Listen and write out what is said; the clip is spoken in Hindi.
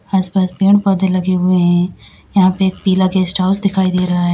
आस पास पेड़ पौधे लगे हुए है यहां पे एक पिला गेस्टहाऊस दिखाई दे रहा हैं।